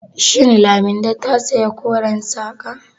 Shin Laminde ta saya koren saƙa?